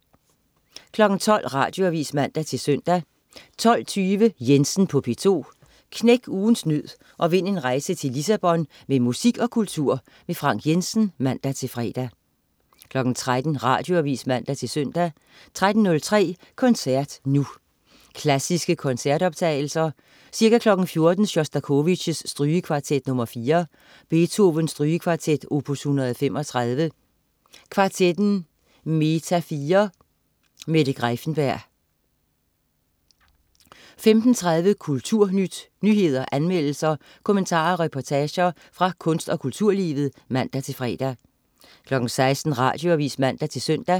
12.00 Radioavis (man-søn) 12.20 Jensen på P2. Knæk ugens nød og vind en rejse til Lissabon med musik og kultur. Frank Jensen (man-fre) 13.00 Radioavis (man-søn) 13.03 Koncert nu. Klassiske koncertoptagelser. Ca. 14.00 Sjostakovitj: Strygekvartet nr. 4. Beethoven: Strygekvartet, opus 135. Kvartetten Meta4. Mette Greiffenberg 15.30 Kulturnyt. Nyheder, anmeldelser, kommentarer og reportager fra kunst- og kulturlivet (man-fre) 16.00 Radioavis (man-søn)